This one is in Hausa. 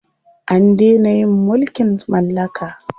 An dena yin mulkin mallaka.